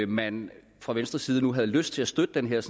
man fra venstres side nu havde lyst til at støtte den her